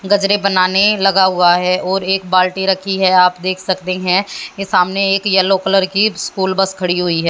गजरे बनाने लगा हुआ है और एक बाल्टी रखी है आप देख सकते हैं ये सामने एक येलो कलर की स्कूल बस खड़ी हुई हैं।